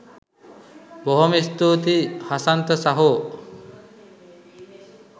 බොහොම ස්තූතියි හසන්ත සහෝ